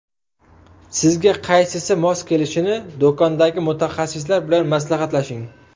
Sizga qaysisi mos kelishini do‘kondagi mutaxassislar bilan maslahatlashing.